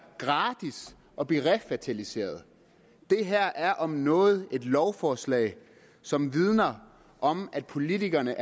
gratis at blive refertiliseret det her er om noget et lovforslag som vidner om at politikerne